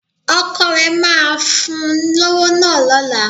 Ọkọ rẹ máa fún un lówó náà lọ́la